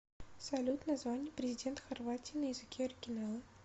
салют название президент хорватии на языке оригинала